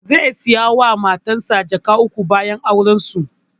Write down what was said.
Zai saya wa matansa jaka uku bayan auren su